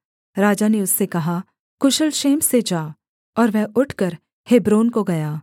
राजा ने उससे कहा कुशल क्षेम से जा और वह उठकर हेब्रोन को गया